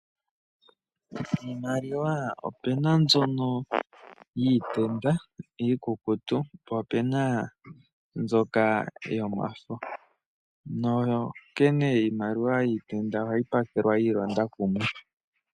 Iimaliwa ope na mbyoka yiilonda iikukutu, po ope na mbyoka yomafo. Iimaliwa yiitenda ohayi pakelwa yiilonda kumwe.